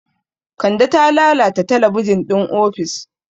Kande ta lalata talabijin ɗin ofis.